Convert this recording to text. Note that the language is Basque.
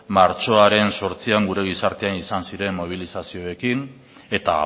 martxoaren zortzian gure gizartean izan ziren mobilizazioarekin eta